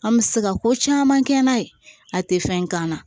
An bɛ se ka ko caman kɛ n'a ye a tɛ fɛn k'an na